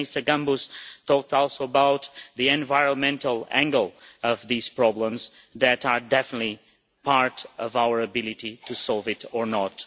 Mr Gambús talked also about the environmental angle of these problems, which are definitely part of our ability to solve it or not.